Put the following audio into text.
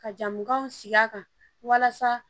Ka jago siya kan walasa